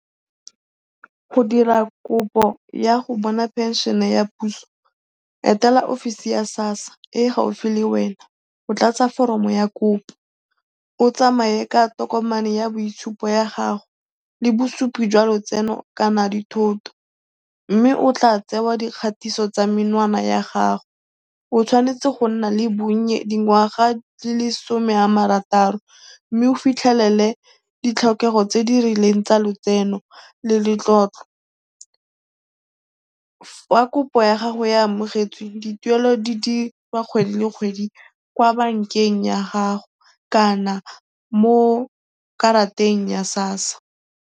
Go dira kopo ya go bona pension ya puso, etela ofisi ya sassa e e gaufi le wena go tlatsa foromo ya kopo, o tsamaye ka tokomane ya boitshupo ya gago le bosupi jwa lotseno kana dithoto mme o tla tsewa dikgatiso tsa menwana ya gago. O tshwanetse go nna le bonnye dingwaga di le 'some a marataro mme o fitlhelele ditlhokego tse di rileng tsa letseno le letlotlo. Fa kopo ya gago e amogetswe, dituelo di dirwa kgwedi le kgwedi kwa bankeng ya gago kana mo karateng ya sassa.